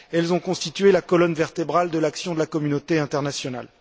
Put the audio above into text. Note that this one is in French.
Elles ont constitué la colonne vertébrale de l'action de la communauté internationale.